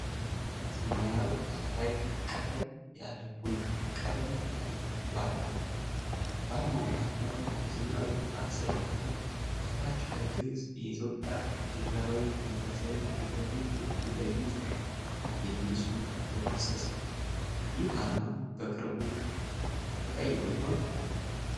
ሰማያዊ ዳራ ላይ ቀለል ያለ ቡናማ ቀለም ያለው ክብ አርማ አለ። በአርማው መሃል ላይ የዘመናዊ ህንጻ ስዕልና ከታች በግዕዝ "የኢትዮጵያ ፌዴራላዊ ዲሞክራሲያዊ ሪፐብሊክ የውጭ ጉዳይ ሚኒስቴር" የሚል ጽሑፍ በግልጽ ተፅፏል። ይህ አርማ በቅርቡ ተቀይሮ ይሆን?